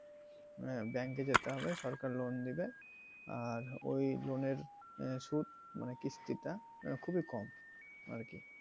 মানে bank এ যেতে হবে সরকার loan দিবে আর ওই loan এর সুধ মানে কিস্টি টা খুবই কম আর কি।